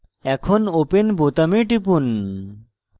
এখন open বোতামে টিপুন